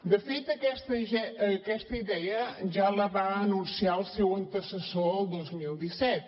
de fet aquesta idea ja la va anunciar el seu antecessor el dos mil disset